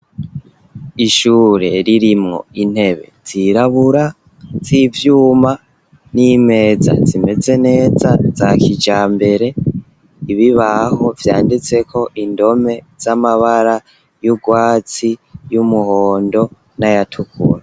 Ishure ririmwo intebe zirabura z'ivyuma n'imeza zimeze neza za kijambere , ibibaho vyanditseko indome z'amabara y'urwatsi , y'umuhondo n'ayatukura.